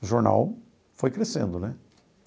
O jornal foi crescendo, né?